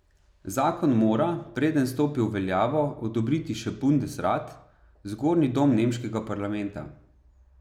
Zakon mora, preden stopi v veljavo, odobriti še bundesrat, zgornji dom nemškega parlamenta.